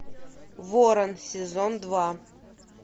ворон сезон два